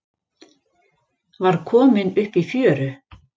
Var kominn upp í fjöru